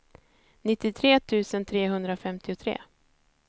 nittiotre tusen trehundrafemtiotre